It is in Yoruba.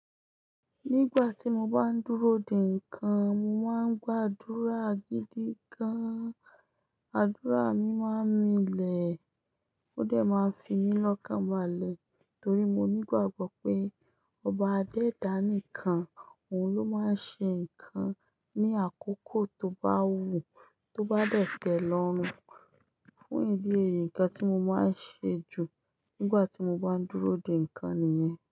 Nígbà tí mo bá ń dúró dè ǹkan, mo máa ń gbàdúrà gidi gan. Àdúrà mi máa milẹ̀, ó dẹ̀ máa fi mí lọ́kàn balẹ̀ torí mo nígbàgbọ́ pé ọba Adé dánìkan, òun ló máa ń ṣe ǹkan ní àkókò tó bá wù ú, tó bá dẹ̀ tẹ̀ lọ́run. Fún ìdí èyí, ǹkan tí mo máa ń ṣe jù nígbà tí mo bá ń dúró dè ǹkan nìyẹn.